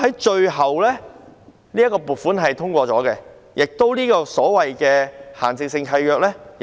最後，這筆撥款獲得通過，亦修改了這份限制性契約。